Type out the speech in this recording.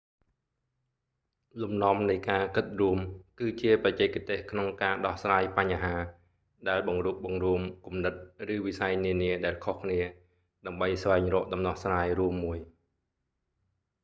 លំនាំនៃការគិតរួម គឺជាបច្ចេកទេសក្នុងការដោះស្រាយបញ្ហា ដែលបង្រួបបង្រួមគំនិត ឬវិស័យនានាដែលខុសគ្នា ដើម្បីស្វែងរកដំណោះស្រាយរួមមួយ